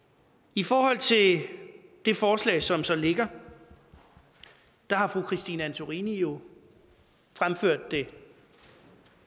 i forhold til det det forslag som så ligger har fru christine antorini jo fremført det